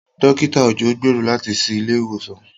Dókítà Òjó gbèrò láti ṣí ilé ìwòsàn.